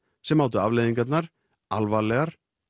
sem mátu afleiðingarnar alvarlegar